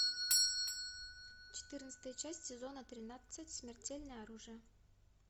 четырнадцатая часть сезона тринадцать смертельное оружие